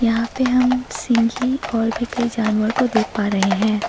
यहां पे हम सिंघी और भी कई जानवर को देख पा रहे हैं।